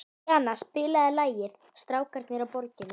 Díanna, spilaðu lagið „Strákarnir á Borginni“.